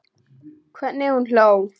Hvernig hún hló.